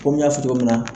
Komi n y'a fɔ cogo min na